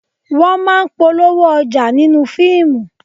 Wọ́n máa ń polówó ọjà nínú fíìmù